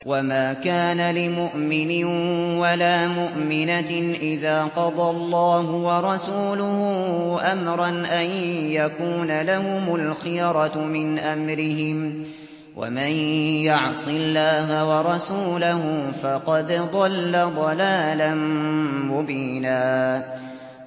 وَمَا كَانَ لِمُؤْمِنٍ وَلَا مُؤْمِنَةٍ إِذَا قَضَى اللَّهُ وَرَسُولُهُ أَمْرًا أَن يَكُونَ لَهُمُ الْخِيَرَةُ مِنْ أَمْرِهِمْ ۗ وَمَن يَعْصِ اللَّهَ وَرَسُولَهُ فَقَدْ ضَلَّ ضَلَالًا مُّبِينًا